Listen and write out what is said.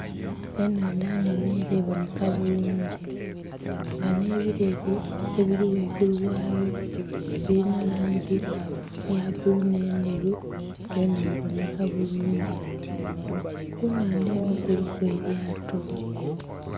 Enhandha nnhene nga eboneka bulungi nga nhe ebileeli ebili ghaigulu ghayo bilinha langi eya bbulu nhe endheru byona bonheka bulungi, ku nhandha enho kuliku elyato.